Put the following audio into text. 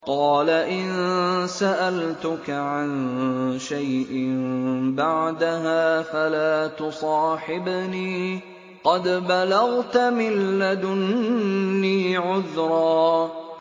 قَالَ إِن سَأَلْتُكَ عَن شَيْءٍ بَعْدَهَا فَلَا تُصَاحِبْنِي ۖ قَدْ بَلَغْتَ مِن لَّدُنِّي عُذْرًا